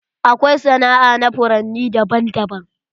Akwai sana'a na furanni daban daban.